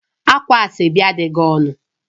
Ákwá Asoebi adịghị ọnụ